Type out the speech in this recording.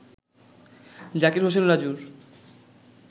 জাকির হোসেন রাজুর